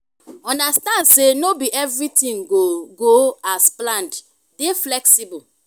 understand sey no be everything go go as planned dey flexible